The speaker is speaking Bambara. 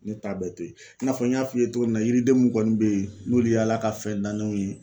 Ne ta bɛɛ to ye i n'a fɔ n y'a f'i ye togo min na yiriden mun kɔni be ye n'olu ye Ala ka fɛn danenw ye